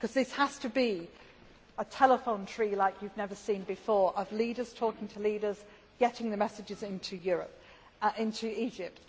as well. This has to be a telephone tree like you have never seen before of leaders talking to leaders, getting the messages